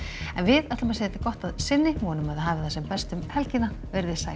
en við segjum þetta gott að sinni vonum að þið hafið það sem best um helgina veriði sæl